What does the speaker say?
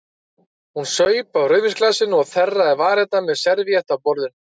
Hún saup af rauðvínsglasinu og þerraði varirnar með servíettu af borðinu.